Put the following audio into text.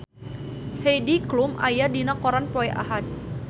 Heidi Klum aya dina koran poe Ahad